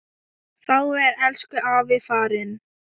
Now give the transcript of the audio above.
Þá er elsku afi farinn.